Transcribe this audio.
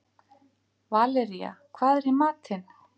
Valería, hvað er í matinn?